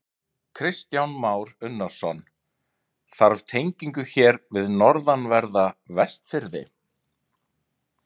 Kristján Már Unnarsson: Þarf tengingu hér við norðanverða Vestfirði?